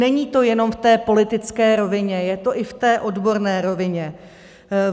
Není to jenom v té politické rovině, je to i v té odborné rovině.